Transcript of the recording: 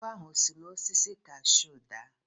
Agwọ ahụ o si n'osisi kashuu daa?